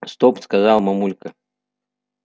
стоп сказала мамулька